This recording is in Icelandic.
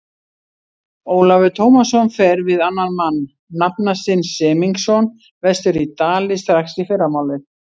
Ólafur Tómasson fer við annan mann, nafna sinn Semingsson, vestur í Dali strax í fyrramálið.